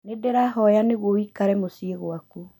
Ndĩrahoya nĩguo ũikare mũciĩ gwaku